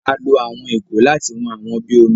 A lo àwọn ìgò láti wón àwọn bí omí.